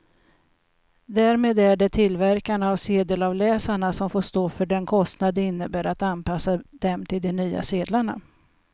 Därmed är det tillverkarna av sedelavläsarna som får stå för den kostnad det innebär att anpassa dem till de nya sedlarna.